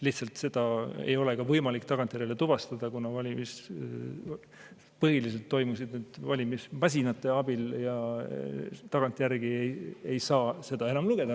Lihtsalt, seda ei ole ka võimalik tagantjärele tuvastada, kuna põhiliselt toimus valimistel masinate abil ja tagantjärele ei saa enam hääli lugeda.